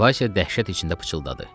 Vaysya dəhşət içində pıçıldadı.